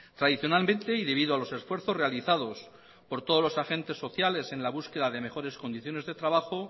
tradicionalmente y debido a los esfuerzos realizados por todos los agentes sociales en la búsqueda de mejores condiciones de trabajo